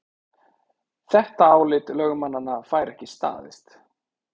Þetta álit lögmannanna fær ekki staðist